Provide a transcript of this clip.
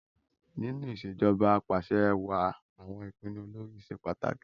Nínú ìṣèjoba Ap'àṣẹwàá àwọn ìpinnu olórí ṣe pàtàkì